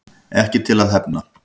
Ekki til að hefna